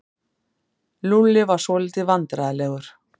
Lúlli var svolítið vandræðalegur.